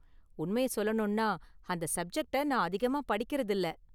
உண்மைய​ சொல்லணும்னா, அந்த சப்ஜெக்ட நான் அதிகமா படிக்கிறதில்ல.